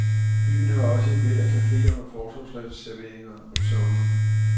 Byen har også et væld af cafeer og fortorvsserveringer om sommeren.